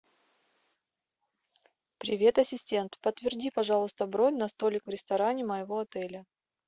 привет ассистент подтверди пожалуйста бронь на столик в ресторане моего отеля